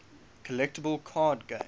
collectible card game